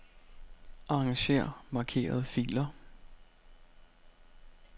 Arranger markerede filer.